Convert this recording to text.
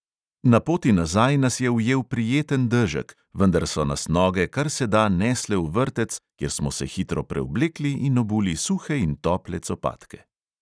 Na poti nazaj nas je ujel prijeten dežek, vendar so nas noge kar se da nesle v vrtec, kjer smo se hitro preoblekli in obuli suhe in tople copatke.